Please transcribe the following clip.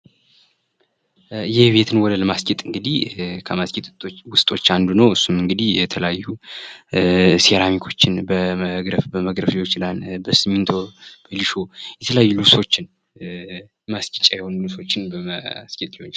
የቤትን ወለል ማስጌጥ እንግድህ ከማስጌጥ ውስቶች አንዱ ነው። እሱም እንግዲህ የተለያዩ ሴራሚኮችን በመግረፍ ሊሆን ዪችላል የተለያዩ ሊሾ